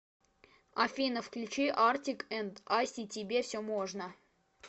афина включи артик энд асти тебе все можно